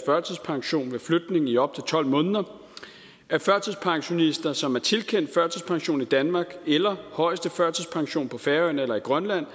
førtidspension ved flytning i op til tolv måneder at førtidspensionister som er tilkendt førtidspension i danmark eller højeste førtidspension på færøerne eller i grønland